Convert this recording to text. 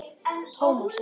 Thomas, já.